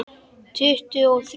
Tuttugu og þrjú!